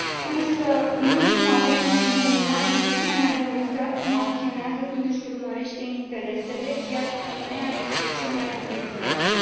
Însă în ultima vreme și nu numai, Rusia ne a demonstrat cum acționează când își urmărește interesele, iar Crimeea este cel mai bun exemplu.